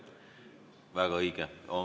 Väga õige.